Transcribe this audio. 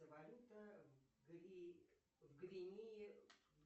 валюта в гвинее